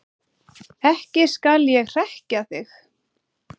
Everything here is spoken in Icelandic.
Ekki skal ég hrekkja þig.